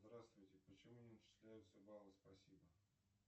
здравствуйте почему не начисляются баллы спасибо